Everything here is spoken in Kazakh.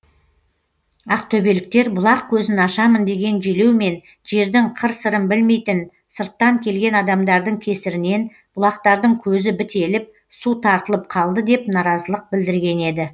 ақтөбеліктер бұлақ көзін ашамын деген желеумен жердің қыр сырын білмейтін сырттан келген адамдардың кесірінен бұлақтардың көзі бітеліп су тартылып қалды деп наразылық білдірген еді